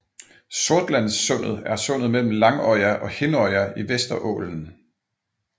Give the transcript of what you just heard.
Sortlandssundet er sundet mellem Langøya og Hinnøya i Vesterålen